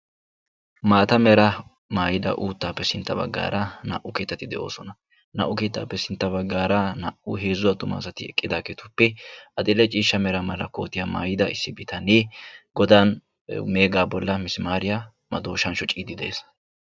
Maata meraa maayida uuttaappe sintta baggaara naa'u keettati de'oosona. Naa'u keettaappe sintta baggaara heezzu attuma asati eqqidaagetuppe adill'e ciishsha mera mala kootiya maayida issi bitanee godan meegaa bollan misimaariya madooshan shociiddi de'es.